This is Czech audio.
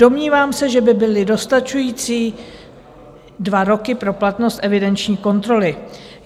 Domnívám se, že by byly dostačující dva roky pro platnost evidenční kontroly.